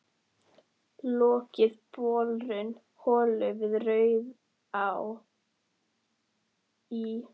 Lokið borun holu við Rauðará í